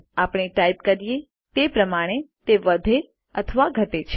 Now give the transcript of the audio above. આપણે ટાઇપ કરીએ તે પ્રમાણે તે વધે અથવા ઘટે છે